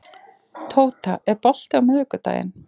Tóta, er bolti á miðvikudaginn?